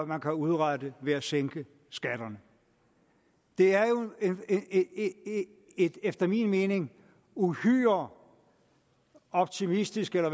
man kan udrette ved at sænke skatterne det er jo et efter min mening uhyre optimistisk eller